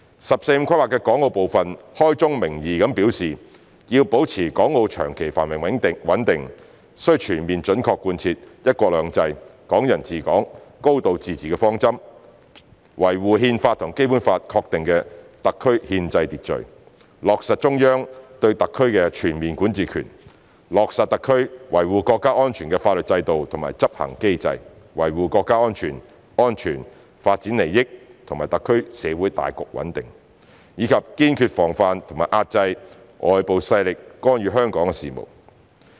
"十四五"規劃的港澳部分開宗明義表示要保持港澳長期繁榮穩定，須全面準確貫徹"一國兩制"、"港人治港"、"高度自治"的方針，維護《憲法》和《基本法》確定的特區憲制秩序，落實中央對特區的全面管治權，落實特區維護國家安全的法律制度和執行機制，維護國家主權、安全、發展利益和特區社會大局穩定，以及堅決防範和遏制外部勢力干預香港事務。